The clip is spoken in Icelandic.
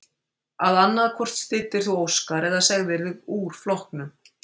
Að annað hvort styddir þú Óskar eða segðir þig úr flokknum?